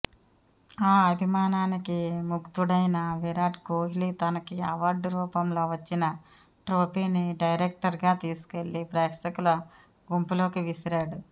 ఆ అభిమానానికి ముగ్ధుడైన విరాట్ కోహ్లి తనకి అవార్డు రూపంలో వచ్చిన ట్రోఫీని డైరెక్ట్గా తీసుకెళ్లి ప్రేక్షకుల గుంపులోకి విసిరాడు